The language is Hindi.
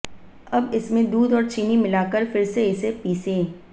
अब इसमें दूध और चीनी मिलाकर फिर से इसे पीसें